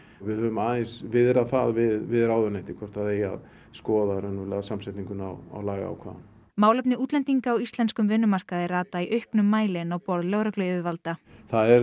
við höfum aðeins viðrað það við ráðuneytið hvort það eigi að skoða raunverulega samsetninguna á lagaákvæðunum málefni útlendinga á íslenskum vinnumarkaði rata í auknum mæli inn á borð lögregluyfirvalda það er